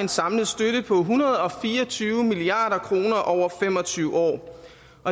en samlet støtte på en hundrede og fire og tyve milliard kroner over fem og tyve år